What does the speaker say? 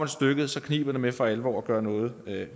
stykket kniber det med for alvor at gøre noget